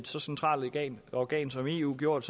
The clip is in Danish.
så centralt organ organ som eu gjort